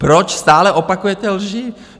Proč stále opakujete lži?